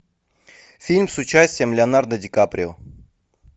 фильм с участием леонардо ди каприо